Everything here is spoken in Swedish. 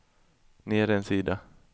ner en sida